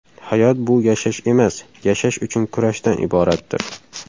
Hayot bu yashash emas, yashash uchun kurashdan iboratdir.